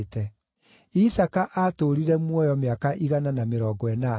Isaaka aatũũrire muoyo mĩaka igana na mĩrongo ĩnana.